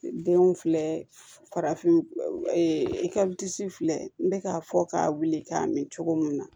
Denw filɛ farafin filɛ n bɛ k'a fɔ k'a wuli k'a min cogo mun na